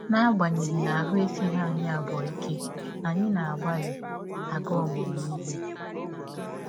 N’agbanyeghị na ahụ́ esighị anyị abụọ ike, anyị na - agbalị aga ọmụmụ ihe.